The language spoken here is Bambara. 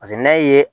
Paseke n'a ye